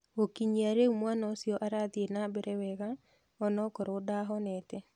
Gũkinyia rĩu mwana ũcio arathiĩ na mbere wega onokorwo ndahonete.